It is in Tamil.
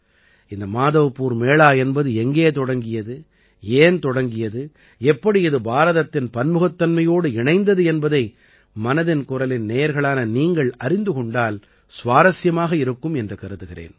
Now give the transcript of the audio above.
இந்த மாதவ்பூர் மேளா என்பது எங்கே தொடங்கியது ஏன் தொடங்கியது எப்படி இது பாரதத்தின் பன்முகத்தன்மையோடு இணைந்தது என்பதை மனதின் குரலின் நேயர்களான நீங்கள் அறிந்து கொண்டால் சுவாரசியமாக இருக்கும் என்று கருதுகிறேன்